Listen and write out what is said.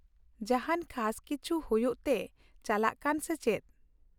ᱡᱟᱦᱟᱸᱱ ᱠᱷᱟᱥ ᱠᱤᱪᱷᱤ ᱦᱩᱭᱩᱜ ᱛᱮ ᱪᱟᱞᱟᱜ ᱠᱟᱱ ᱥᱮ ᱪᱮᱫ ?